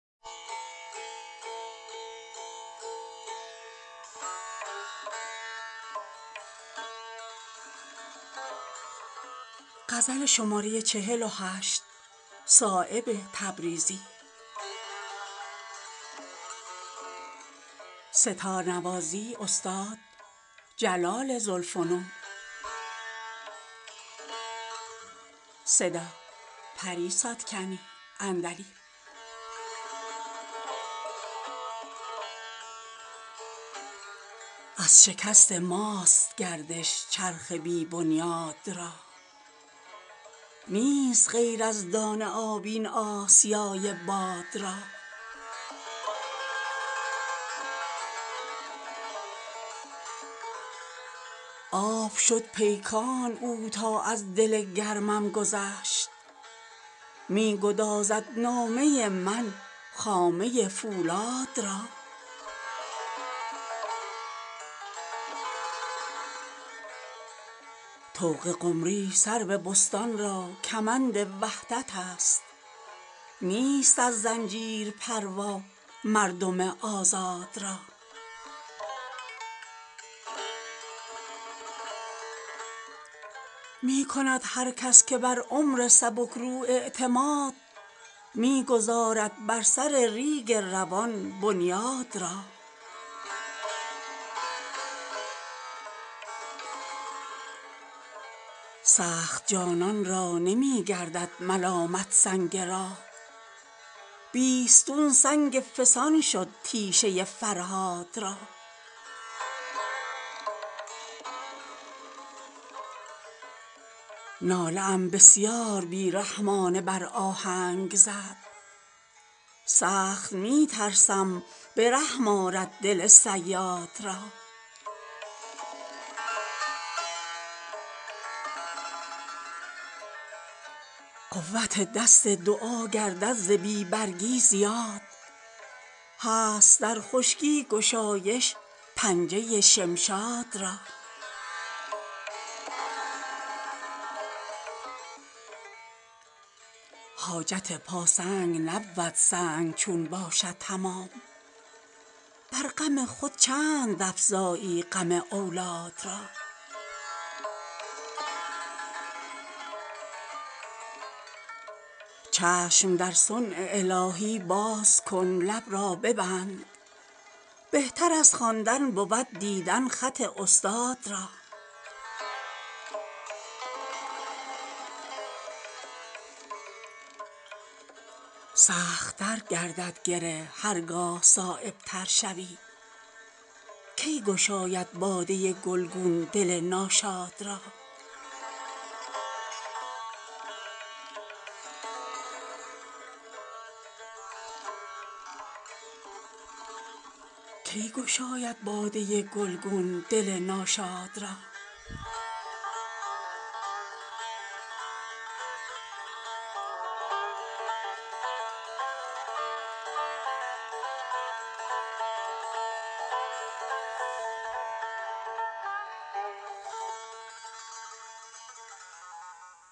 از شکست ماست گردش چرخ بی بنیاد را نیست غیر از دانه آب این آسیای باد را آب شد پیکان او تا از دل گرمم گذشت می گدازد نامه من خامه فولاد را طوق قمری سرو بستان را کمند وحدت است نیست از زنجیر پروا مردم آزاد را می کند هر کس که بر عمر سبکرو اعتماد می گذارد بر سر ریگ روان بنیاد را سخت جانان را نمی گردد ملامت سنگ راه بیستون سنگ فسان شد تیشه فرهاد را ناله ام بسیار بی رحمانه بر آهنگ زد سخت می ترسم به رحم آرد دل صیاد را قوت دست دعا گردد ز بی برگی زیاد هست در خشکی گشایش پنجه شمشاد را حاجت پا سنگ نبود سنگ چون باشد تمام بر غم خود چند افزایی غم اولاد را چشم در صنع الهی باز کن لب را ببند بهتر از خواندن بود دیدن خط استاد را سخت تر گردد گره هر گاه صایب تر شود کی گشاید باده گلگون دل ناشاد را